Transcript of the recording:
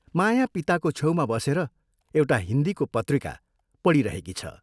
माया पिताको छेउमा बसेर एउटा हिन्दीको पत्रिका पढिरहेकी छ।